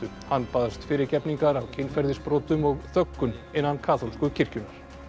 hann baðst fyrirgefningar á kynferðisbrotum og þöggun innan kaþólsku kirkjunnar